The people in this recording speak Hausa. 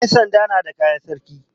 Yansanda na da kayan sarki.